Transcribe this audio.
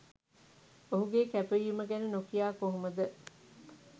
ඔහුගේ කැපවීම ගැන නොකියා කොහොමද?